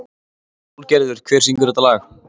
Sólgerður, hver syngur þetta lag?